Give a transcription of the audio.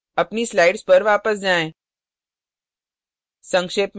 अपनी slides पर वापस जाएँ